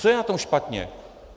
Co je na tom špatně?